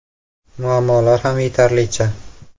Muammolar ham yetarlicha.